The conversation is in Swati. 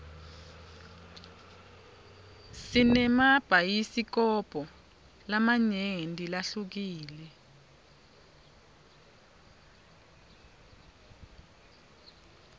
sinemabhayisikobho lamanyenti lahlukile